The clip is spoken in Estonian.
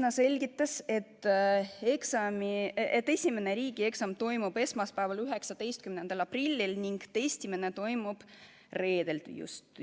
Ta selgitas, et esimene riigieksam toimub esmaspäeval, 19. aprillil ning testimine toimub